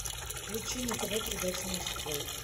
включи на тв передачу морской